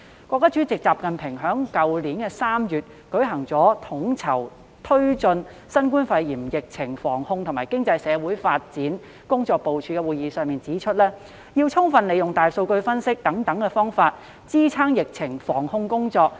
國家主席習近平在去年3月舉行的統籌推進新冠肺炎疫情防控和經濟社會發展工作部署會議上指出，要充分利用大數據分析等方法，支撐疫情防控工作。